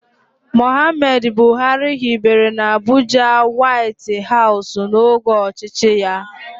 Mohammed Buhari hibere n'Abuja Wáiti háusù n'oge ọchịchị ya